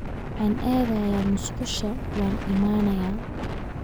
waxaan aadayaa musqusha waan imanaya